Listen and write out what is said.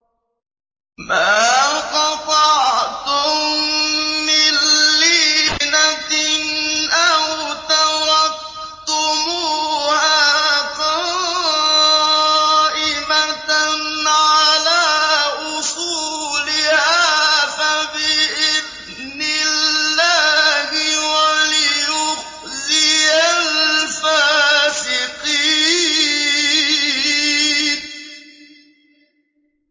مَا قَطَعْتُم مِّن لِّينَةٍ أَوْ تَرَكْتُمُوهَا قَائِمَةً عَلَىٰ أُصُولِهَا فَبِإِذْنِ اللَّهِ وَلِيُخْزِيَ الْفَاسِقِينَ